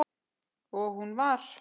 Og hún var